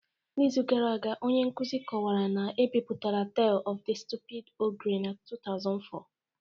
N’izu gara aga, onye nkuzi kọwara na e bipụtara Tale of the Stupid Ogre na 2004